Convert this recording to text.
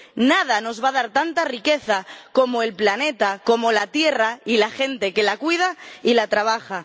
Nada nos va a dar tanta riqueza como el planeta, como la tierra y la gente que la cuida y la trabaja.